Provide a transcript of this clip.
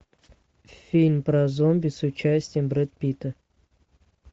фильм про зомби с участием брэда питта